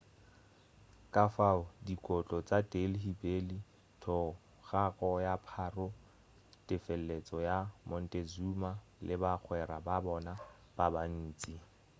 kafao dikotlo tša delhi belly thogako ya pharaoh tefeletšo ya montezuma le bagwera ba bona ba bantši